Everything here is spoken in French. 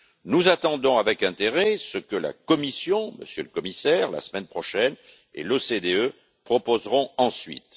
Nous attendons avec intérêt ce que la Commission Monsieur le Commissaire, la semaine prochaine et l'OCDE proposeront ensuite.